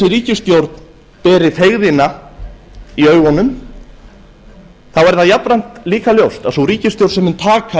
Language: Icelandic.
þessi ríkisstjórn beri feigðina í augunum er það jafnframt líka ljóst að sú ríkisstjórn sem mun taka